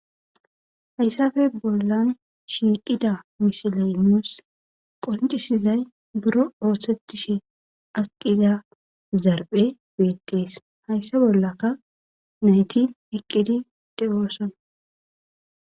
Haysape boollan shiiqida misilee nuussi qonccissizay biron ooseththishe aqqida zarphphee des; haysa bollaka na7ithi eqqidi de7oosona.